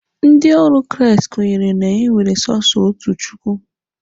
Ndị ọrụ Kraịst kwenyere na e nwere sọsọ otu Chukwu.